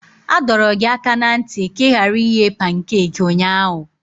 A dọrọ gị aka ná ntị ka ị ghara ighe pankaki ụnyahụ!